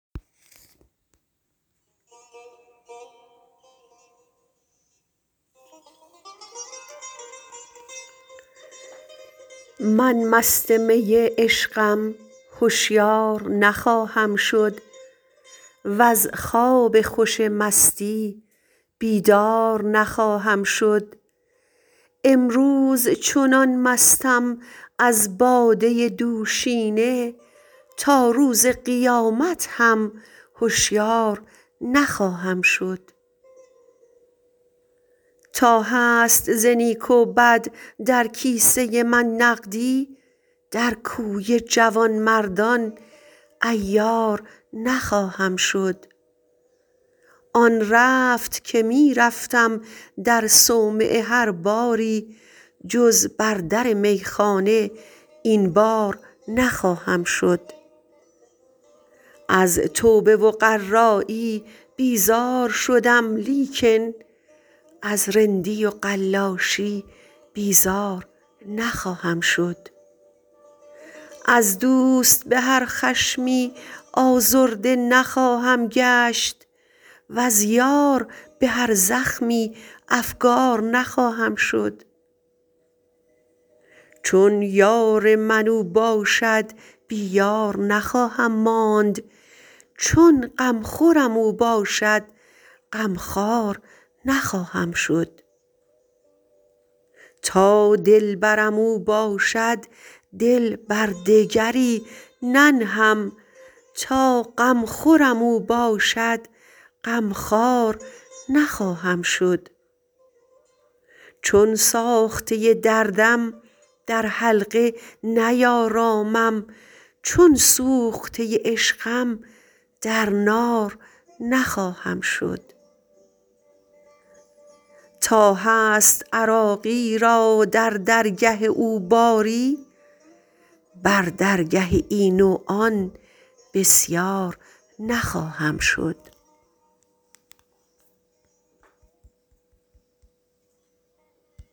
من مست می عشقم هشیار نخواهم شد وز خواب خوش مستی بیدار نخواهم شد امروز چنان مستم از باده دوشینه تا روز قیامت هم هشیار نخواهم شد تا هست ز نیک و بد در کیسه من نقدی در کوی جوانمردان عیار نخواهم شد آن رفت که می رفتم در صومعه هر باری جز بر در میخانه این بار نخواهم شد از توبه و قرایی بیزار شدم لیکن از رندی و قلاشی بیزار نخواهم شد از دوست به هر خشمی آزرده نخواهم گشت وز یار به هر زخمی افگار نخواهم شد چون یار من او باشد بی یار نخواهم ماند چون غمخورم او باشد غم خوار نخواهم شد تا دلبرم او باشد دل بر دگری ننهم تا غمخورم او باشد غمخوار نخواهم شد چون ساخته دردم در حلقه نیارامم چون سوخته عشقم در نار نخواهم شد تا هست عراقی را در درگه او باری بر درگه این و آن بسیار نخواهم شد